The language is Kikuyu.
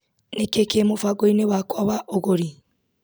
nĩkĩĩ kĩ mũbango-inĩ wakwa wa ũgũri